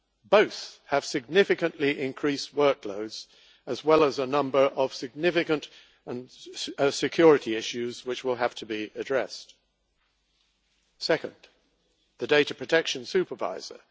Both have significantly increased workloads, as well as a number of significant security issues which will have to be addressed. Second, the Data Protection Supervisor.